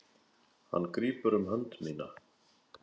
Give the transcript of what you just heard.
Hann grípur um hönd mína.